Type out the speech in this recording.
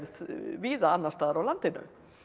víða annars staðar á landinu